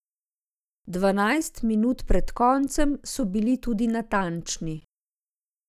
Dvanajst minut pred koncem so bili tudi natančni.